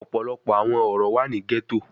Ọpọlọpọ awọn oro wa ni ghetto